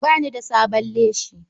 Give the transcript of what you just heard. Ba ni da da sabon leshi.